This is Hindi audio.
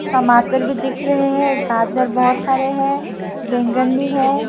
टमाटर भी दिख रहे हैं गाजर बहोत सारे हैं बैगन भी है।